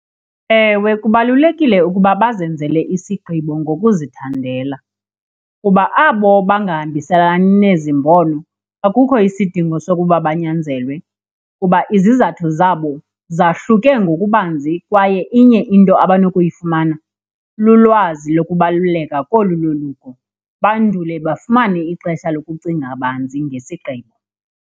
Ewe, kubalulekile ukuba bazenzele isigqibo ngokuzithandela kuba abo bangahambiselani nezi mbono akukho isidingo sokuba banyanzelwe kuba izizathu zabo zahluke ngokubanzi. Kwaye inye into abanokuyifumana, lulwazi lokubaluleka kolu loluko bandule bafumane ixesha lokucinga banzi ngesigqibo.